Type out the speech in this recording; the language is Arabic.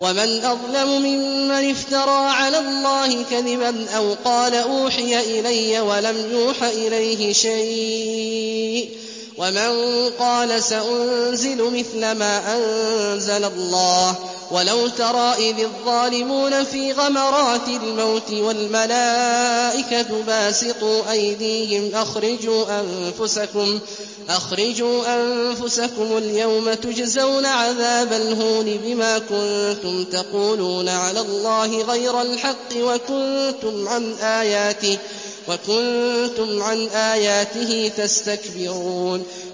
وَمَنْ أَظْلَمُ مِمَّنِ افْتَرَىٰ عَلَى اللَّهِ كَذِبًا أَوْ قَالَ أُوحِيَ إِلَيَّ وَلَمْ يُوحَ إِلَيْهِ شَيْءٌ وَمَن قَالَ سَأُنزِلُ مِثْلَ مَا أَنزَلَ اللَّهُ ۗ وَلَوْ تَرَىٰ إِذِ الظَّالِمُونَ فِي غَمَرَاتِ الْمَوْتِ وَالْمَلَائِكَةُ بَاسِطُو أَيْدِيهِمْ أَخْرِجُوا أَنفُسَكُمُ ۖ الْيَوْمَ تُجْزَوْنَ عَذَابَ الْهُونِ بِمَا كُنتُمْ تَقُولُونَ عَلَى اللَّهِ غَيْرَ الْحَقِّ وَكُنتُمْ عَنْ آيَاتِهِ تَسْتَكْبِرُونَ